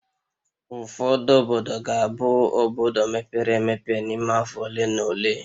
Ụfọdụ obodo ga-abụ obodo mepere emepe n'ime afọ ole na ole